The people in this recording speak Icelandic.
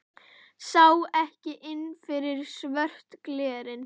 Sá ekki inn fyrir svört glerin.